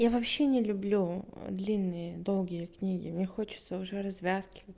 я вообще не люблю длинные долгие книги мне хочется уже развязки